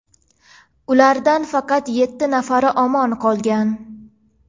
Ulardan faqat yetti nafari omon qolgan.